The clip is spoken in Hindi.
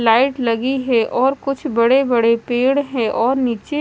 लाइट लगी है और कुछ बड़े बड़े पेड़ है और नीचे--